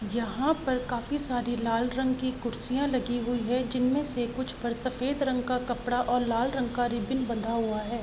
यहाँ पर काफी सारे लाल रंग की कुर्सियाॅं लगी हुई हैं जिनमे से कुछ पर सफ़ेद रंग का कपड़ा और लाल रंग का रिब्बीन बंधा हुआ है।